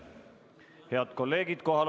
Head kolleegid!